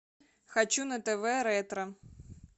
хочу на тв ретро